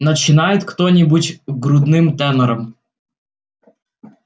начинает кто-нибудь грудным тенором